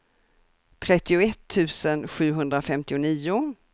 trettioett tusen sjuhundrafemtionio